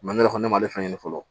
ne yɛrɛ kɔni ne ma ale ɲɛ ɲini fɔlɔ